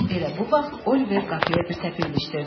Elə bu vaxt Oliver qapıya bir təpik ilişdirdi.